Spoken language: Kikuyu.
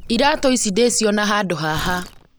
Iratũ icĩ ndĩciona handũ haha